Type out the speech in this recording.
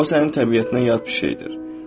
O sənin təbiətinə yad bir şeydir.